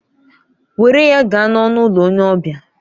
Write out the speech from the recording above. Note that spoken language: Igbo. Were ya gaa n'ọnụ ụlọ onye ọbịa!